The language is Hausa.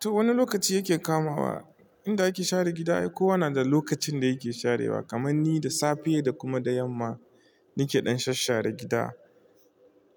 To wani lokaci yake kamawa, inda ake share gida ai kowa na da lokacin da yake sharewa kaman ni da safe da kuma da yamma nake ɗan shasshare gida.